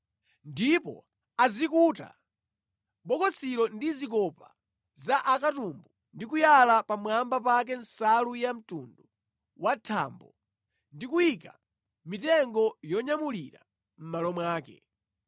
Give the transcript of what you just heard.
Ndipo azikuta bokosilo ndi zikopa za akatumbu ndi kuyala pamwamba pake nsalu ya mtundu wa thambo ndi kuyika mitengo yonyamulira mʼmalo mwake.